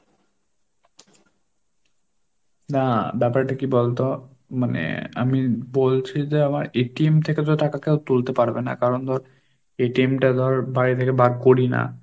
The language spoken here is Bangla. না ব্যাপারটা কি বলতো? মানে আমি বলছি যে আমার থেকে তো টাকা কেউ তুলতে পারবে না কারণ ধর টা ধর বাড়ি থেকে বার করি না।